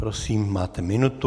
Prosím, máte minutu.